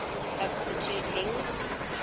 substituting